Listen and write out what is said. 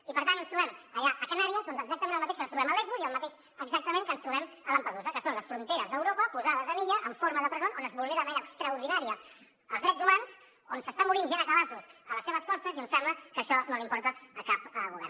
i per tant ens trobem allà a canàries doncs exactament el mateix que ens trobem a lesbos i el mateix exactament que ens trobem a lampedusa que són les fronteres d’europa posades en illa en forma de presó on es vulnera de manera extraordinària els drets humans on s’està morint gent a cabassos a les seves costes i on sembla que això no li importa a cap govern